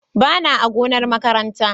Bana a gonar makaranta ba.